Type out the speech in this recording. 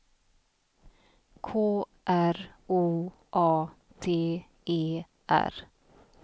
K R O A T E R